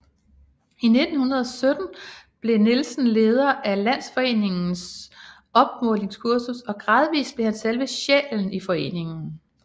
I 1917 blev Nielsen leder af Landsforeningens opmålingskursus og gradvist blev han selve sjælen i foreningen